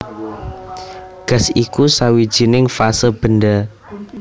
Gas iku sawijining fase benda